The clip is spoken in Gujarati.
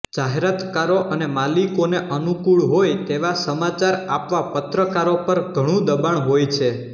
જાહેરાતકારો અને માલિકોને અનુકૂળ હોય તેવા સમાચાર આપવા પત્રકારો પર ઘણુ દબાણ હોય છે